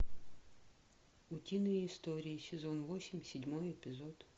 утиные истории сезон восемь седьмой эпизод